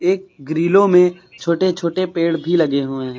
एक ग्रीलो में छोटे छोटे पेड़ भी लगे हुए है।